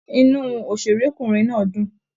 Inú òṣèrékùnrin náà dún.